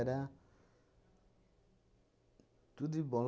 tudo de bom.